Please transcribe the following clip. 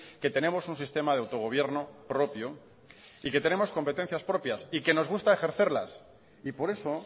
que tenemos un sistema de autogobierno propio y que tenemos competencias propias y que nos gusta ejercerlas y por eso